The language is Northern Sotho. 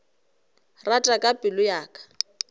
rata ka pelo ya ka